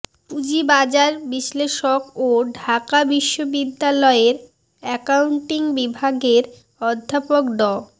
পুঁজিবাজার বিশ্লেষক ও ঢাকা বিশ্ববিদ্যালয়ের অ্যাকাউন্টিং বিভাগের অধ্যাপক ড